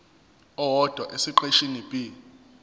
owodwa esiqeshini b